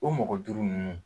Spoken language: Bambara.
O mɔgɔ duuru nunnu.